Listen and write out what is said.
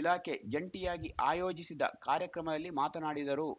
ಇಲಾಖೆ ಜಂಟಿಯಾಗಿ ಆಯೋಜಿಸಿದ್ದ ಕಾರ್ಯಕ್ರಮದಲ್ಲಿ ಮಾತನಾಡಿದರು